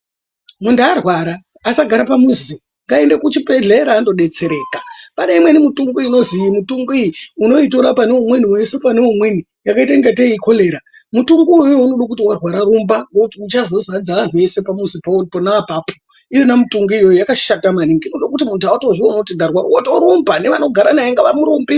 Muntu arwara, asagara pamuzi. Ngaaende kuchibhedhlera andodetsereka. Pane imweni mitongo inozi iyi mitongo iyi unoutora pane umweni weiise pane umweni yakaite ingatei ikolera, mutongo uwowowo unodo kuti warwara rumba, ngekuti uchazodzadza anhu ese pamuzi pauri pona apapo. Iyona mitongo iyoyoyo yakashata maningi ngekuti muntu hautozvioni kuti ndarwara, wotorumba. Nevanogara naye ngavamurumbise.